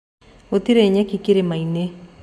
Ngũtĩrĩ nyeki kĩrĩma-inĩ